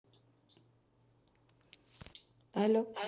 Hello